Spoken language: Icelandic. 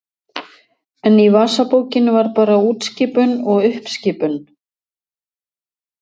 En í vasabókinni var bara útskipun og uppskipun.